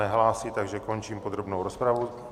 Nehlásí, takže končím podrobnou rozpravu.